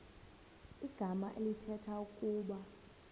igama elithetha ukuba